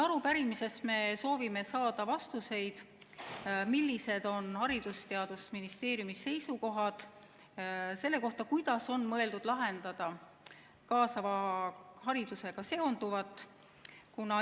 Arupärimises me soovime saada vastuseid, millised on Haridus- ja Teadusministeeriumi seisukohad selle kohta, kuidas on mõeldud lahendada kaasava haridusega seonduv.